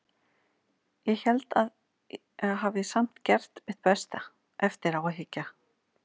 Ég held að ég hafi samt gert mitt besta, eftir á að hyggja.